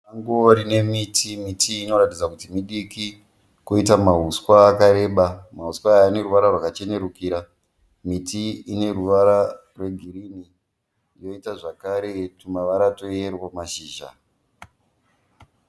Sango rine miti. Miti iyi inoratidza kuti midiki kwoita mahuswa akareba. Mahuswa aya aneruvara rwakachenerukira. Miti iyi ineruvara rwegirinhi poita zvakare twumavara tweyero pamashizha.